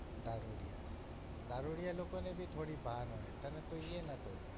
દારૂડિયા દારૂડિયા લોકો ને ભી થોડી ભાન હોય તને તો ઈ એ નતું